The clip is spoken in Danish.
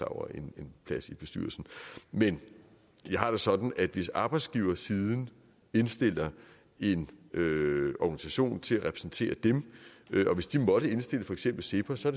over en plads i bestyrelsen men jeg har det sådan at hvis arbejdsgiversiden indstiller en organisation til at repræsentere dem og hvis de måtte indstille for eksempel cepos så